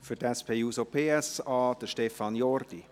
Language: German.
Für die SP-JUSO-PSA: Stefan Jordi.